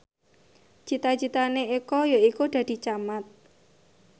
cita citane Eko yaiku dadi camat